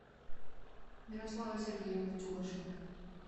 мирослава сергеевна тюгашева